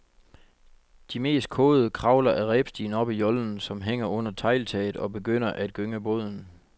De mest kåde kravler ad rebstigen op i jollen, som hænger under tegltaget, og begynder at gynge båden.